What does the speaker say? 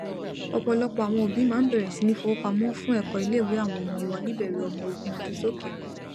ọpọlọpọ àwọn òbí máa n bẹrẹ sí ní fowópamọfún ẹkọ iléìwé àwọn ọmọ wọn níbẹrẹ ọmọ ogún ọdún sókè